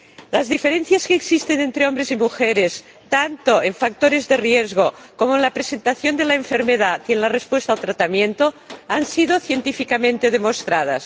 Las diferencias que existen entre hombres y mujeres, tanto en factores de riesgo como en la presentación de la enfermedad y en la respuesta al tratamiento, han sido científicamente demostradas.